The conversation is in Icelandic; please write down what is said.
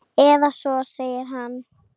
Eða svo segir hann!